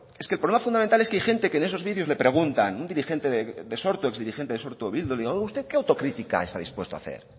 es que el problema fundamental es que hay gente que en esos vídeos le preguntan un exdirigente de sortu o bildu usted que autocrítica está dispuesto a hacer